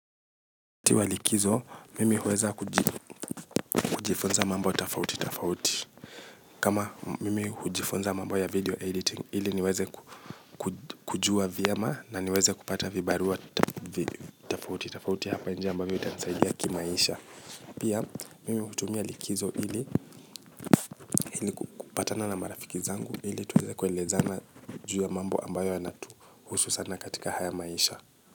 Ti wa likizo, mimi huweza kujifunza mambo tofauti tofauti kama mimi hujifunza mambo ya video editing, ili niweze kujua vyema na niweze kupata vibarua tofauti, tofauti hapa nje ambavyo itanisaidia kimaisha. Pia, mimi hutumia likizo ili, ili kupatana na marafiki zangu, ili tuweze kuelezana juu ya mambo ambayo yana tuhusu sana katika haya maisha.